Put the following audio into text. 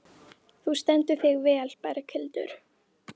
Þú stendur þig vel, Berghildur!